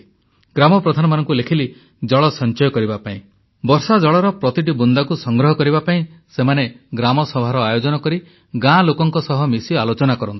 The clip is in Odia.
ଗ୍ରାମ ପ୍ରଧାନମାନଙ୍କୁ ଲେଖିଲି ଜଳ ସଞ୍ଚୟ କରିବା ପାଇଁ ବର୍ଷାଜଳର ପ୍ରତିଟି ବୁନ୍ଦାକୁ ସଂଗ୍ରହ କରିବା ପାଇଁ ସେମାନେ ଗ୍ରାମସଭାର ଆୟୋଜନ କରି ଗାଁ ଲୋକଙ୍କ ସହିତ ମିଶି ଆଲୋଚନା କରନ୍ତୁ